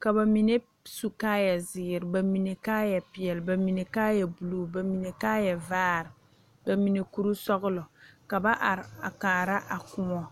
ka ba mine su kaayɛ zeere ba mine kaayɛ peɛle ba mine kaayɛ buluu ba mine kaayɛ vaare ba mine kuri sɔgelɔ ka ba are a kaara a kóɔ